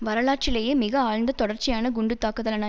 வரலாற்றிலேயே மிக ஆழ்ந்த தொடர்ச்சியான குண்டு தாக்குதலான